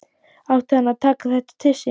Átti hann að taka þetta til sín?